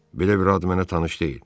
Belə bir ad mənə tanış deyil.